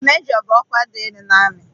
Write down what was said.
Majọ bụ ọkwa dị elu n'amị.